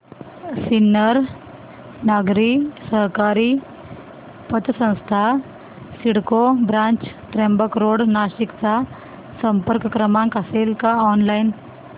सिन्नर नागरी सहकारी पतसंस्था सिडको ब्रांच त्र्यंबक रोड नाशिक चा संपर्क क्रमांक असेल का ऑनलाइन